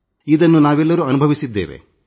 ಇದನ್ನು ನಾವೆಲ್ಲರೂ ಅನುಭವಿಸಿದ್ದೇವೆ